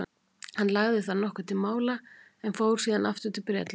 hann lagði þar nokkuð til mála en fór síðan aftur til bretlands